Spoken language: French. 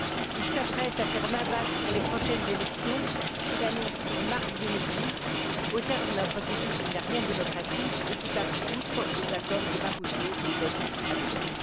Il s'apprête à faire main basse sur les prochaines élections, qu'il annonce pour mars 2010, au terme d'un processus qui n'a rien de démocratique et qui passe outre aux accords de Maputo et d'Addis Abeba.